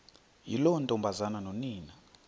yiloo ntombazana nonina